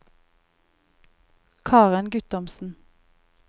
Karen Guttormsen